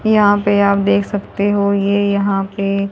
यहां पे आप देख सकते हो ये यहां पे--